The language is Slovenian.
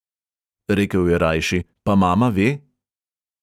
Rekel je rajši: "pa mama ve?"